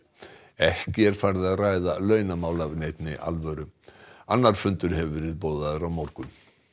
ekki er farið að ræða launamál af neinni alvöru annar fundur hefur verið boðaður á morgun